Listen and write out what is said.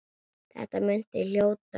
Þetta muntu hljóta.